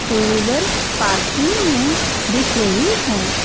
To wheeler parking में दिख रही हैं।